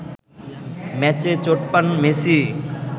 ম্যাচে চোট পান মেসি